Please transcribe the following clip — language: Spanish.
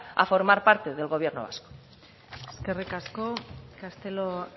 a formar parte del gobierno vasco eskerrik asko castelo